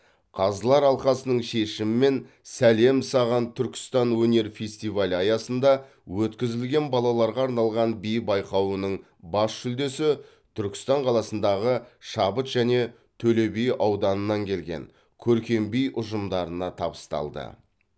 қазылар алқасының шешімімен сәлем саған түркістан өнер фестивалі аясында өткізілген балаларға арналған би байқауының бас жүлдесі түркістан қаласындағы шабыт және төлеби ауданыннан келген көркем би ұжымдарына табысталды